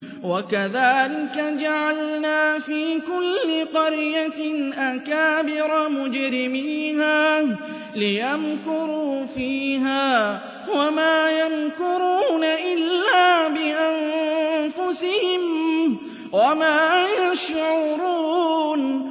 وَكَذَٰلِكَ جَعَلْنَا فِي كُلِّ قَرْيَةٍ أَكَابِرَ مُجْرِمِيهَا لِيَمْكُرُوا فِيهَا ۖ وَمَا يَمْكُرُونَ إِلَّا بِأَنفُسِهِمْ وَمَا يَشْعُرُونَ